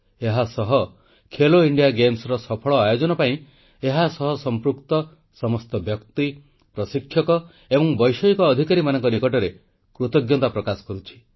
ଏହାସହ ଖେଲୋ ଇଣ୍ଡିଆ ଗେମ୍ସର ସଫଳ ଆୟୋଜନ ପାଇଁ ଏହା ସହ ସମ୍ପୃକ୍ତ ସମସ୍ତ ବ୍ୟକ୍ତି ପ୍ରଶିକ୍ଷକ ଏବଂ ବୈଷୟିକ ଅଧିକାରୀମାନଙ୍କ ନିକଟରେ କୃତଜ୍ଞତା ପ୍ରକାଶ କରୁଛି